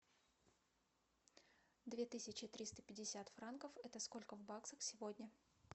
две тысячи триста пятьдесят франков это сколько в баксах сегодня